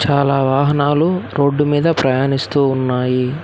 చాలా వాహనాలు రోడ్డు మీద ప్రయాణిస్తూ ఉన్నాయి.